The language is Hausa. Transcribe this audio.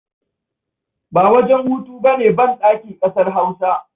Ba wajen hutu ba ne banɗaki ƙasar Hausa.